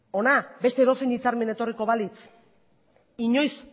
hona beste edozein hitzarmen etorriko balitz inoiz